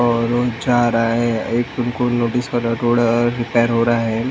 और वो जा रहा है एक उनको नोटिस क्र रहा रोड रिपेयर हो रहा है ।